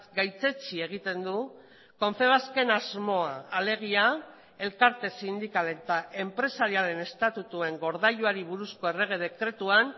gaitzetsi egiten du confebasken asmoa alegia elkarte sindikal eta enpresariaren estatutuen gordailuari buruzko errege dekretuan